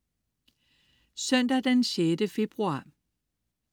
Søndag den 6. februar